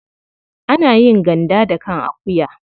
Ana yin ganda da kan akuwa.